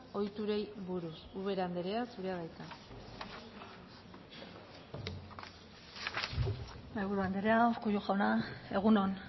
ohiturei buruz ubera andrea zurea da hitza mahaiburu andrea urkullu jauna egun on